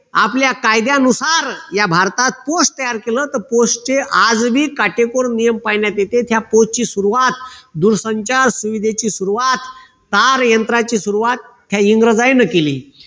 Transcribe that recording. आपल्या कायद्यानुसार या भारतात post तयार केलं post चे आजही काटेकोर नियम पाळण्यात येते या post ची सुरवात दूरसंचार सुविधेची सुरवात तारयंत्राची सुरवात ह्या इंग्रजांनी केली.